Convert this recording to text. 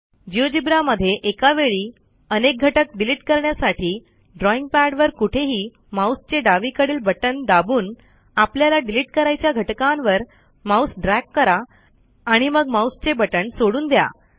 GeoGebra मध्ये एका वेळी अनेक घटक डिलिट करण्यासाठी ड्रॉईंग पॅडवर कुठेही माऊसचे डावीकडील बटण दाबून आपल्याला डिलिट करायच्या घटकांवर माऊस ड्रॅग करा आणि मग माऊसचे बटण सोडून द्या